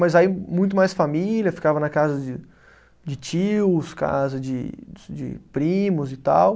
Mas aí muito mais família, ficava na casa de, de tios, casa de de primos e tal.